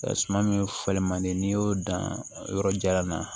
Suman min falen man di n'i y'o dan yɔrɔ jalan na